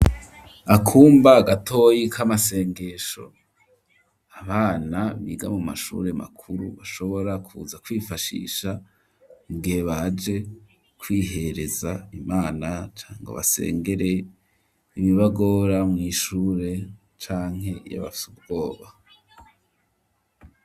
Akumba gatoyi k'amasengesho abana biga mu mashure makuru bashobora kuza kwifashisha mugihe baje kwihereza imana cangwa basengere ibibagora mw'ishure canke iyo bafise ubwoba.